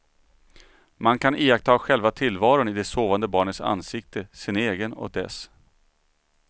Man kan iaktta själva tillvaron i det sovande barnets ansikte, sin egen och dess.